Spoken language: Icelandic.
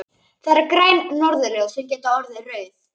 Það eru græn norðurljós sem geta orðið rauð.